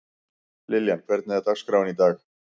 Liljan, hvernig er dagskráin í dag?